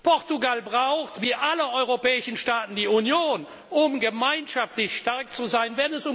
Portugal braucht, wie alle europäischen Staaten, die Union, um gemeinschaftlich stark zu sein.